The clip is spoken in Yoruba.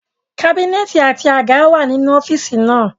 Kábínẹ̀tì àti àga wà nínú ọ́fíìsì náà